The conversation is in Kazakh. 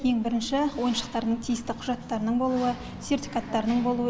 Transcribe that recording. ең бірінші ойыншықтардың тиісті құжаттарының болуы сертификаттарының болуы